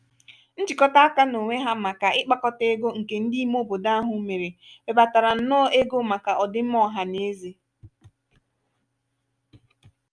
njikota aka n'onwe ha màkà ikpakọta ego nke ndị ime obodo ahụ mèrè webatara nnọọ ego màkà ọdịmma ọha n'eze.